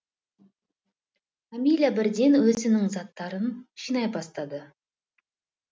амиля бірден өзінің заттарын жинай бастады